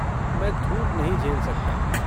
मैं धूप नहीं झेल सकता।